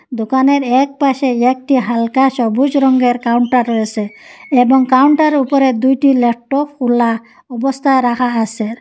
দোকানের একপাশে একটি হালকা সবুজ রঙ্গের কাউন্টার রয়েসে এবং কাউন্টারে উপরে দুইটি ল্যাপটপ খোলা অবস্থায় রাখা আসে ।